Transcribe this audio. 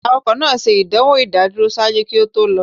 Awakọ naa ṣe idanwo idaduro ṣaaju ki o to lọ.